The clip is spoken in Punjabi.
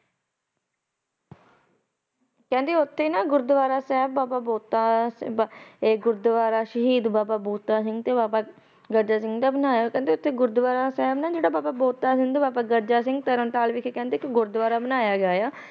ਕਹਿੰਦੇ ਉਥੇ ਇਕ ਗੁਰਦੁਆਰਾ ਸਾਹਿਬ ਬਣਾਇਆ ਗਿਆ ਬਾਬਾ ਬੰਤਾ ਸਿੰਘ ਤੇ ਬਾਬਾ ਗਰਜਾ ਸਿੰਘ ਦਾ ਬਣਾਇਆ ਗਿਆ ਤਰਨਤਾਰਨ ਵਿਖੇ